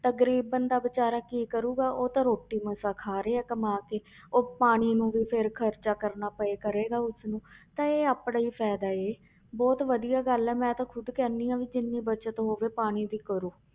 ਤਾਂ ਗ਼ਰੀਬ ਬੰਦਾ ਬੇਚਾਰਾ ਕੀ ਕਰੇਗਾ ਉਹ ਤਾਂ ਰੋਟੀ ਮਸਾਂ ਖਾ ਰਿਹਾ ਕਮਾ ਕੇ ਉਹ ਪਾਣੀ ਨੂੰ ਵੀ ਫਿਰ ਖ਼ਰਚਾ ਕਰਨਾ ਪਏ ਕਰੇਗਾ ਉਸਨੂੰ ਤਾਂ ਇਹ ਆਪਣਾ ਹੀ ਫ਼ਾਇਦਾ ਹੈ, ਬਹੁਤ ਵਧੀਆ ਗੱਲ ਹੈ ਮੈਂ ਤਾਂ ਖੁੱਦ ਕਹਿੰਦੀ ਹਾਂ ਵੀ ਜਿੰਨੀ ਬਚਤ ਹੋਵੇ ਪਾਣੀ ਦੀ ਵੀ ਕਰੋ।